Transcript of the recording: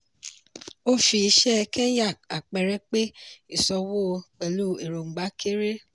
ó fi iṣẹ́ kenya àpẹẹrẹ pé ìsọwọ́ pẹ̀lú èròngbà kéré.